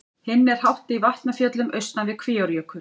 Hinn er hátt í Vatnafjöllum austan við Kvíárjökul.